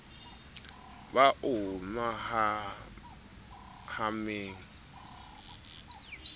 ba o hemang ha o